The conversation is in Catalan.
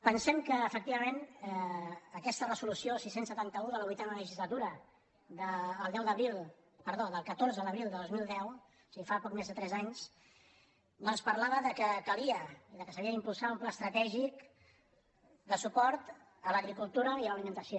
pen·sem que efectivament aquesta resolució la sis cents i setanta un de la vuitena legislatura del catorze d’abril de dos mil deu és a dir fa poc més de tres anys doncs parlava del fet que calia i que s’havia d’impulsar un pla estratègic de su·port a l’agricultura i a l’alimentació